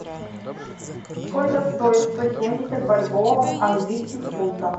сколько стоит сто семьдесят бальбоа в английских фунтах